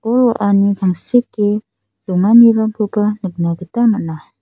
bol-wa·ani tangseke donganirangkoba nikna gita man·a.